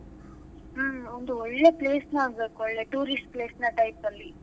ಹ್ಮ್ ಒಂದು ಒಳ್ಳೆ place ನ ನೋಡ್ಬೇಕು ಒಳ್ಳೆ tourist place ನ type ಅಲ್ಲಿ.